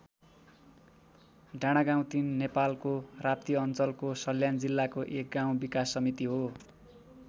डाँडागाउँ ३ नेपालको राप्ती अञ्चलको सल्यान जिल्लाको एक गाउँ विकास समिति हो।